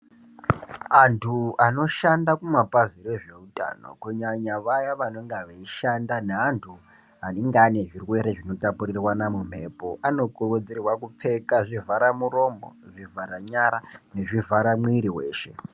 Antu anoshanda kumapazj rezvehutano kunyanya vaya vanenge veishanda nevantu vanenge vane zvirwere zvinotapurirwa mumhepo anokurudzirwa kupfeka zvivhara muromo zvivhara nyara nezvivhara muviri weshe.